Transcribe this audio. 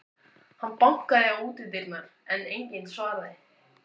Hann bankaði á útidyrnar, en enginn svaraði.